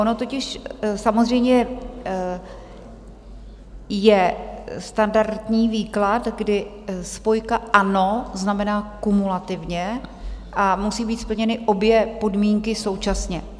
Ono totiž samozřejmě je standardní výklad, kdy spojka "a" znamená kumulativně a musí být splněny obě podmínky současně.